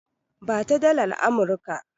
Ba ta dalar Amurika!